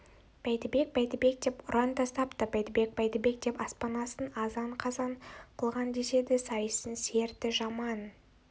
бәйдібек бәйдібек деп ұран тастапты бәйдібек бәйдібек деп аспан астын азан-қазан қылған деседі сайыстың серті жаман